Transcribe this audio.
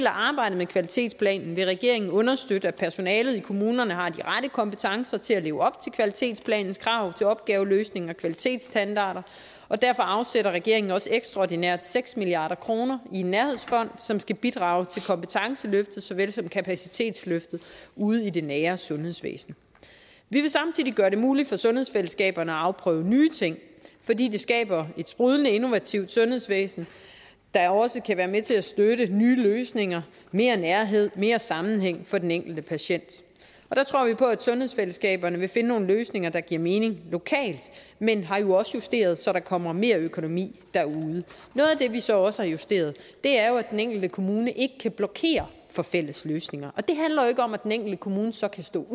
arbejdet med kvalitetsplanen vil regeringen understøtte at personalet i kommunerne har de rette kompetencer til at leve op til kvalitetsplanens krav til opgaveløsning og kvalitetsstandarder og derfor afsætter regeringen også ekstraordinært seks milliard kroner i nærhedsfonden som skal bidrage til kompetenceløftet såvel som kapacitetsløftet ude i det nære sundhedsvæsen vi vil samtidig gøre det muligt for sundhedsfællesskaberne at afprøve nye ting fordi det skaber et sprudlende innovativt sundhedsvæsen der også kan være med til at støtte nye løsninger mere nærhed mere sammenhæng for den enkelte patient der tror vi på at sundhedsfællesskaberne vil finde nogle løsninger der giver mening lokalt men vi har jo også justeret så der kommer mere økonomi derude noget af det vi så også har justeret er jo at den enkelte kommune ikke kan blokere for fælles løsninger og det handler jo ikke om at den enkelte kommune så kan stå